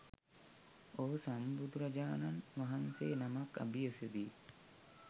ඔහු සම්බුදුරජාණන් වහන්සේ නමක් අභියසදී